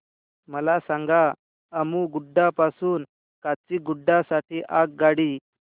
मला सांगा अम्मुगुडा पासून काचीगुडा साठी आगगाडी